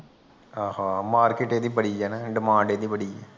ਆਹਾਂ market ਏਦੀ ਬੜੀ ਆ ਨਾ ਡਿਮਾਂਡ ਏਦੀ ਬੜੀ ਆ।